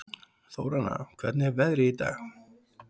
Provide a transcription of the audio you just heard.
Þóranna, hvernig er veðrið í dag?